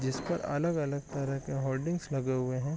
जिस पर अलग-अलग तरह के होर्डिंग्स लगे हुए है ।